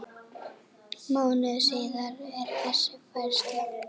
Mánuði síðar er þessi færsla